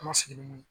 An ma sigi ni mun ye